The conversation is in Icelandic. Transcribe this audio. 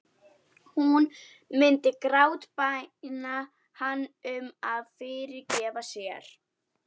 Hún myndi grátbæna hann um að fyrirgefa sér.